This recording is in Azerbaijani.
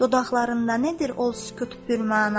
Dodaqlarında nədir o sükut pürməna?